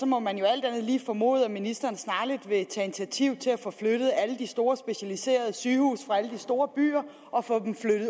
må man jo alt andet lige formode at ministeren snarligt vil tage initiativ til at få flyttet alle de store specialiserede sygehuse fra alle de store byer og